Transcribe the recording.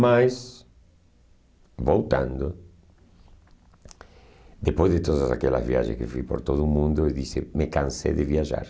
Mas, voltando, depois de todas aquelas viagens que fiz por todo o mundo, eu disse: Me cansei de viajar.